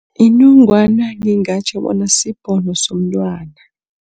Inongwana ngingatjho bona sibhono somntwana.